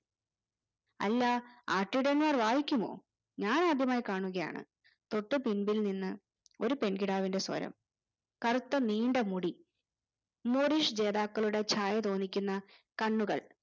അല്ലാ ആട്ടിടയന്മാർ വായിക്കുമോ ഞാൻ ആദ്യമായി കാണുകയാണ് തൊട്ട് പിമ്പിൽ നിന്ന് ഒരു പെൺകിടാവിന്റെ സ്വരം കറുത്ത നീണ്ട മുടി morrish ജേതാക്കളുടെ ഛായ തോന്നിക്കുന്ന കണ്ണുകൾ